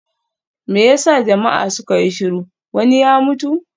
Me ya sa jama'a suka yi shiru, wani ya mutu?